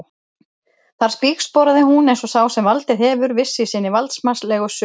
Þar spígsporaði hún um eins og sá sem valdið hefur, viss í sinni valdsmannslegu sök.